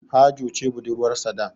Hajo ce budurwarsa da.